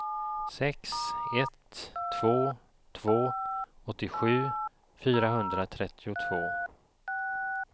sex ett två två åttiosju fyrahundratrettiotvå